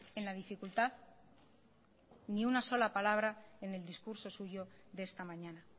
en la dificultad ni una sola palabra en el discurso suyo de esta mañana